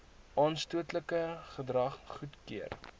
aanstootlike gedrag goedkeur